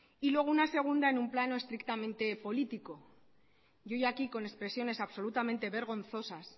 y luego una segunda en un plano estrictamente político y hoy aquí con expresiones absolutamente vergonzosas